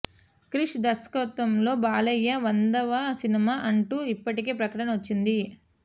క్రిష్ దర్శకత్వంలో బాలయ్య వందవ సినిమా అంటూ ఇప్పటికే ప్రకటన వచ్చింది